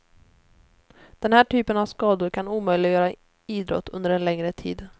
Den här typen av skador kan omöjligöra idrott under en längre tid.